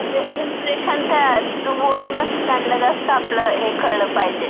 हां, म्हणजे इंप्रेशन तयार, रिझ्यूमवरूनच त्यांला जास्त आपलं हे कळलं पाहिजे.